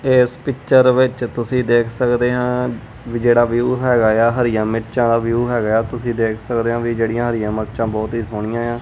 ਇਸ ਪਿਚਰ ਵਿੱਚ ਤੁਸੀਂ ਦੇਖ ਸਕਦੇ ਆ ਜਿਹੜਾ ਵਿਊ ਹੈਗਾ ਆ ਹਰੀਆ ਮਿਰਚਾਂ ਦਾ ਵਿਊ ਹੈਗਾ ਆ ਤੁਸੀਂ ਦੇਖ ਸਕਦੇ ਹੋ ਵੀ ਜਿਹੜੀਆਂ ਹਰੀਆਂ ਮਿਰਚਾਂ ਬਹੁਤ ਹੀ ਸੋਹਣੀਆਂ ਆ।